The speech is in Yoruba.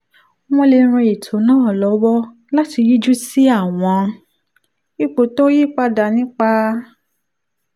wọ́n lè ran ètò náà lọ́wọ́ láti yíjú sí àwọn ipò tó ń yí padà nípa